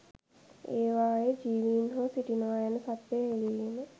ඒවායේ ජීවීන් හෝ සිටිනවා යන සත්‍යය හෙළිවීම